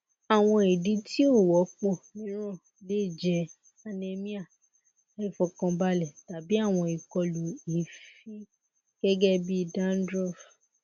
awọn idi ti o wọpọ miiran le jẹ anemia aifọkanbalẹ tabi awọn ikolu eefin gẹgẹbi dandruff